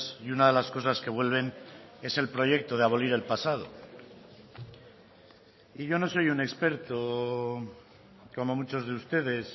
y una de las cosas que vuelven es el proyecto de abolir el pasado y yo no soy un experto como muchos de ustedes